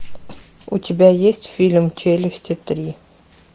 у тебя есть фильм челюсти три